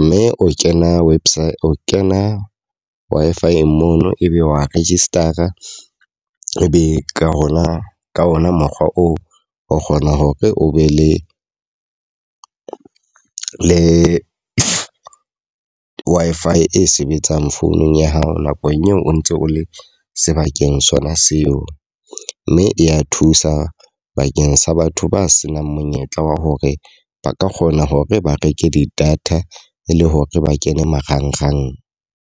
Mme o kena website o kena Wi-Fi-eng mono ebe wa register-a. E be ka hona ka ona mokgwa oo o kgona hore o be le le Wi-Fi e sebetsang founung ya hao nakong eo o ntse o le sebakeng sona seo. Mme e ya thusa bakeng sa batho ba senang monyetla wa hore ba ka kgona hore ba reke di-data e le hore ba kene marangrang.